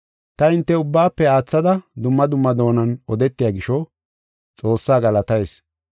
Ta hinte ubbaafe aathada dumma dumma doonan odetiya gisho Xoossaa galatayis.